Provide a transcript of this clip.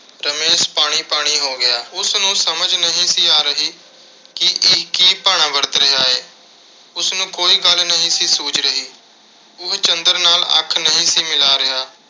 ਰਮੇਸ਼ ਪਾਣੀ ਪਾਣੀ ਹੋ ਗਿਆ। ਉਸਨੂੰ ਸਮਝ ਨਹੀਂ ਸੀ ਆ ਰਹੀ ਕਿ ਇਹ ਕੀ ਭਾਣਾ ਵਰਤ ਰਿਹਾ ਏ। ਉਸਨੂੰ ਕੋਈ ਗੱਲ ਨਹੀਂ ਸੀ, ਸੁੱਝ ਰਹੀ। ਉਹ ਚੰਦਰ ਨਾਲ ਅੱਖ ਨਹੀਂ ਸੀ ਮਿਲਾ ਰਿਹਾ।